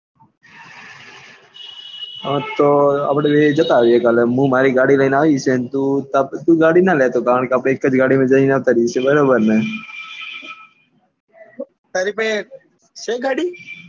હા તો અપડે બે જતા આવીએ કાલે મુ મારી ગાડી લઇ ને અવિસ અને તું તારી ગાડી નાં લાતો કારણે કે આપડે એક જ ગાડી માં જી ને આવતા રીએ બરાબર ને તારી પાસે છે ગાડી,